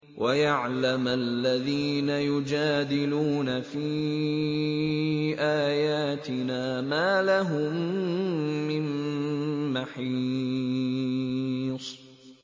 وَيَعْلَمَ الَّذِينَ يُجَادِلُونَ فِي آيَاتِنَا مَا لَهُم مِّن مَّحِيصٍ